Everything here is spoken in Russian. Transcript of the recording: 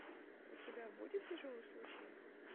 у тебя будет тяжелый случай